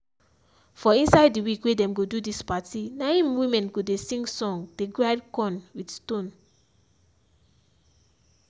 for inside the week wey dem go do dis party na im women go dey sing song dey grind corn with stone.